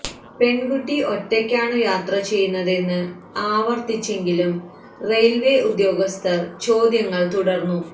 പെണ്കുട്ടി ഒറ്റയ്ക്കാണു യാത്ര ചെയ്യുന്നതെന്ന് ആവര്ത്തിച്ചെങ്കിലും റെയില്വേ ഉദ്യോഗസ്ഥ ചോദ്യങ്ങള് തുടര്ന്നു